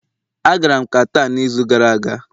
A gara m Qatar n'izu gara aga